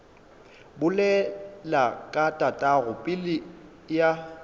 bolela ka tatago pelo ya